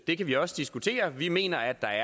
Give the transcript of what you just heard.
det kan vi også diskutere vi mener at der